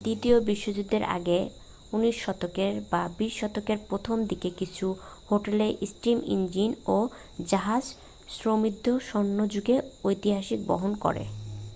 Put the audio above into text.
দ্বিতীয় বিশ্বযুদ্ধের আগে 19 শতকে বা 20 শতকের প্রথম দিকের কিছু হোটেল স্টীম ইঞ্জিন ও জাহাজ সমৃদ্ধ স্বর্ণযুগের ঐতিহ্য বহন করে